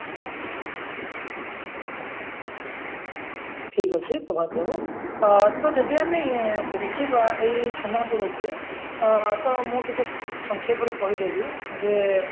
ଠିକ ଅଛି ପ୍ରଭାତ ବାବୁ ଆ ତ ଯଦି ଆମେ ଦେଖିବା ଏଇ ଛେନାଫୋଡକୁ ଆ ତ ମୁଁ ଟିକେ ସଂକ୍ଷେପରେ କହିଦେବି ଯେ